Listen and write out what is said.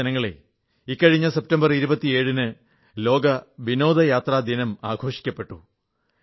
പ്രിയപ്പെട്ട ജനങ്ങളേ മിനിഞ്ഞാന്ന് സെപ്റ്റംബർ 27 ന് ലോക വിനോദയാത്രാ ദിനം ആഘോഷിക്കപ്പെട്ടു